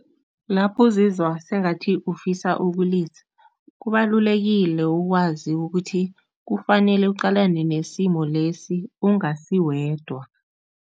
Lapho uzizwa sengathi ufisa ukulisa, kubalulekile ukwazi ukuthi kufanele uqalane nesimo lesi ungasiwedwa.